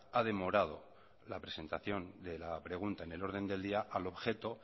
ha demorado la presentación de la pregunta en el orden del día al objeto